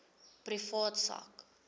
privaat sak